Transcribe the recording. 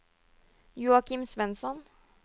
Joachim Svensson